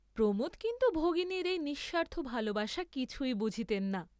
প্রমোদ কিন্তু ভগিনীর সেই নিঃস্বার্থ ভালবাসা কিছুই বুঝিতেন না।